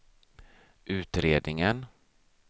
utredningen